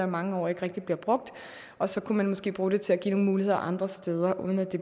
mange år og ikke rigtig bliver brugt og så kan man måske bruge det til at give nogle muligheder andre steder uden at det